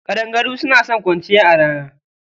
Ƙadangaru suna son kwanciya a rana.